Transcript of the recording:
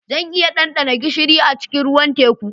Zan iya ɗanɗana gishiri a cikin ruwan teku